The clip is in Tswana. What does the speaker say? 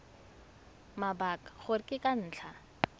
mabaka gore ke ka ntlha